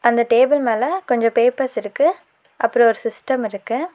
அந்த டேபிள் மேல கொஞ்ச பேப்பர்ஸ் இருக்கு அப்பறம் ஒரு சிஸ்டம் இருக்கு.